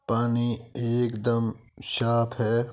पानी एक दम साफ है।